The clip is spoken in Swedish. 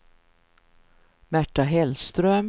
Märta Hellström